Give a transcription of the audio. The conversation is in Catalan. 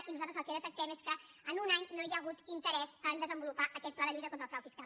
i nosaltres el que detectem és que en un any no hi ha hagut interès a desenvolupar aquest pla de lluita contra el frau fiscal